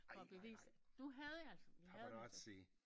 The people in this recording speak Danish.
Ej nej nej paparazzi